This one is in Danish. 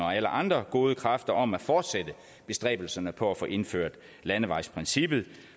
og alle andre gode kræfter om at fortsætte bestræbelserne på at få indført landevejsprincippet